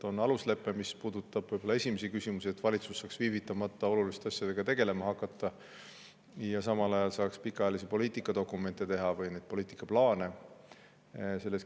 On aluslepe, mis puudutab olulisi küsimusi, millega valitsus viivitamata tegelema hakkama, ja samal ajal saab teha pikaajalisi poliitikadokumente või poliitikaplaane.